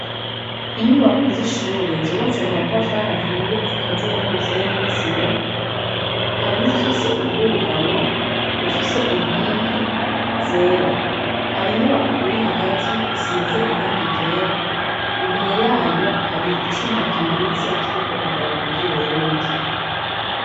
Inyubako z'ishure zubatse mu matafari ahiye zikaziye n'umusenyi n'isima hari nifise ubwugamo bufise inkingi zera hari inyubako iri hagati isize irangigera imbere yayo hari icuma kimanitse kiriko idarapo ry'uburundi.